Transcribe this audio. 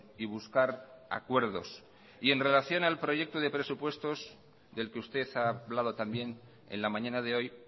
y buscar acuerdos y en relación al proyecto de presupuestos del que usted ha hablado también en la mañana de hoy